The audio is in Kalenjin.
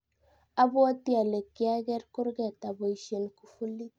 apwoti alee kiaker kurget aboisien kufulit